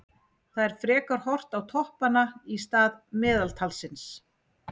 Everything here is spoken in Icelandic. Það er frekar horft á toppanna í stað meðaltalsins.